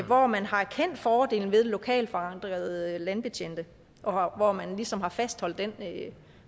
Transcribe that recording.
hvor man har erkendt fordelen ved lokalt forankrede landbetjente og hvor man ligesom har fastholdt den